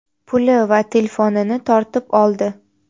puli va telefonini tortib oldi.